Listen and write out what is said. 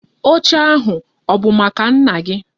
Oche ahu, ọ bụ maka nna gi?